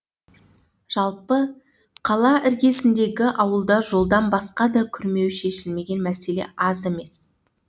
жалпы қала іргесіндегі ауылда жолдан басқа да күрмеуі шешілмеген мәселе аз емес